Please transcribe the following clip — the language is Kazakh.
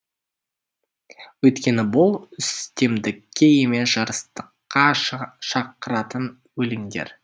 өйткені бұл үстемдікке емес жарастыққа шақыратын өлеңдер